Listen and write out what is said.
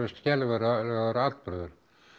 skelfilegur atburður